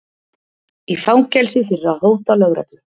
Í fangelsi fyrir að hóta lögreglu